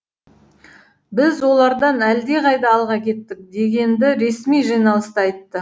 біз олардан әлдеқайда алға кеттік дегенді ресми жиналыста айтты